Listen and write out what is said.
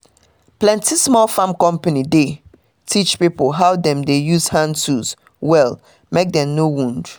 plenty small farming company dey teach pipo how dem de use hand tools well mek dem no wound